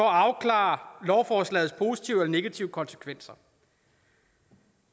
afklare lovforslagets positive eller negative konsekvenser